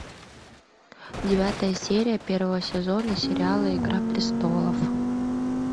девятая серия первого сезона сериала игра престолов